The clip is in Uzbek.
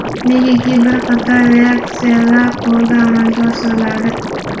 negaki bir qator reaksiyalar qo‘lda amalga oshiriladi.